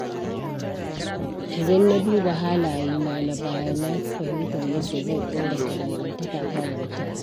Idan na duba halayena na baya, na fi fahimtar yadda zan inganta dangantakata da mutane.